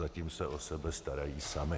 Zatím se o sebe starají sami.